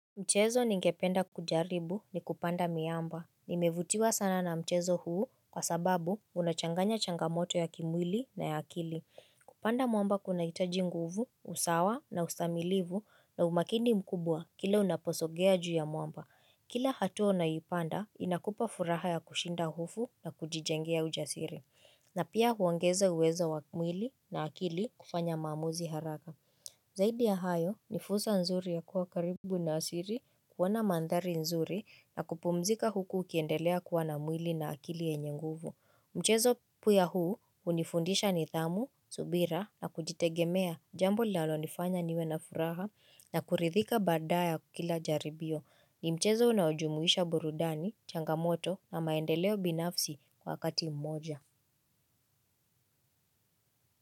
Mchezo ningependa kujaribu ni kupanda miamba, nimevutiwa sana na mchezo huu kwa sababu unachanganya changamoto ya kimwili na ya akili Kupanda mwamba kuna hitaji nguvu, usawa na ustamilivu na umakini mkubwa kila unaposogea juu ya mwamba Kila hatua unaipanda inakupa furaha ya kushinda hofu na kujijengea ujasiri na pia huongeza uwezo wa mwili na akili kufanya maamuzi haraka Zaidi ya hayo ni fursa nzuri ya kuwa karibu na asiri kuona mandhari nzuri na kupumzika huku ukiendelea kuwa na mwili na akili yenye nguvu. Mchezo pia huu unifundisha nidhamu, subira na kujitegemea jambo linalonifanya niwe na furaha na kuridhika baada ya kila jaribio. Ni mchezo unaojumuisha burudani, changamoto na maendeleo binafsi kwa kati mmoja.